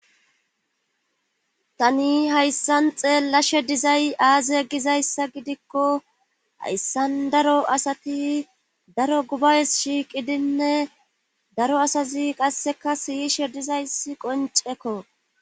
tani hayssan xeella she dizay aaze egizayssa gidikko hayssan daro asati daro gubays shiiqidinne daro asazi qasseka siyishe dizaysi qoncekko